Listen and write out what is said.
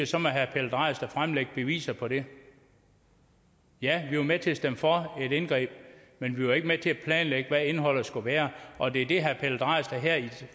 så må herre pelle dragsted fremlægge beviser på det ja vi var med til at stemme for et indgreb men vi var ikke med til at planlægge hvad indholdet skulle være og det er det herre pelle dragsted her i